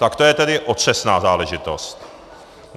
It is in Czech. Tak to je tedy otřesná záležitost.